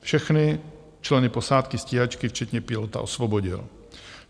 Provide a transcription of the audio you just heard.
Všechny členy posádky stíhačky včetně pilota osvobodil.